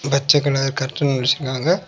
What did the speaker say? பச்ச colour curtain வச்சிருக்காங்க.